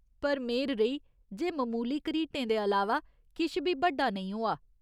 पर मेह्‌र रेही, जे ममूली घरीटें दे अलावा किश बी बड्डा नेईं होआ।